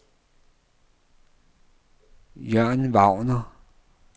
Jørn Wagner